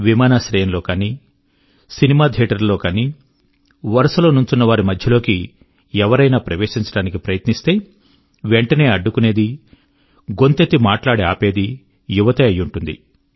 విమానాశ్రయం లో కానీ లేదా సినిమా థియేటర్ లలో కానీ వరుస లో నుంచున్న వారి మధ్యలోకి ఎవరైనా ప్రవేశించడానికి ప్రయత్నిస్తే వెంటనే అడ్డుకునేదీ గొంతెత్తి మాట్లాడి ఆపేదీ యువతే అయి ఉంటుంది